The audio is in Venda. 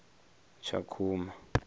tshakhuma